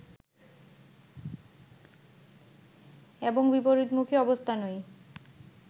এবং বিপরীতমুখী অবস্থানই